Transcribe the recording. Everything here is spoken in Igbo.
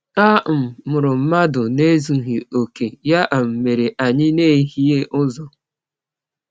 A um mụrụ mmadụ n’ezughị okè, ya um mere anyị na-ehie ụzọ.